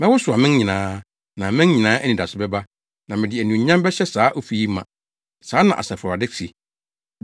Mɛwosow aman nyinaa, na aman nyinaa anidaso bɛba, na mede anuonyam bɛhyɛ saa ofi yi ma.’ Saa na Asafo Awurade se.